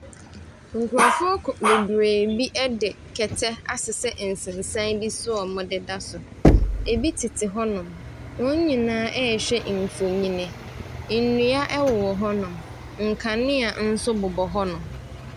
Nkurɔfoɔ ko bebiree bi de kɛtɛ asesɛ nsensan bi so a wɔdeda so. Ebi tete hɔnom. Wɔn nyinaa rehwɛ mfonin. Nnua wowɔ hɔnom, nkanea nso bobɔ hɔnom.